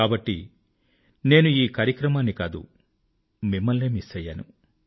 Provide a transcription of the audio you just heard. కాబట్టి నేను ఈ కార్యక్రమాన్ని కాదు మిమ్మల్నే మిస్ అయ్యాను